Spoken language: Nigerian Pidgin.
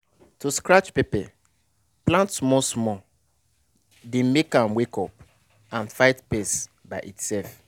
to scratch pepper plant small small dey make am wake up and fight pest by itself.